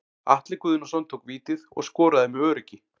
Atli Guðnason tók vítið og skoraði með öruggi.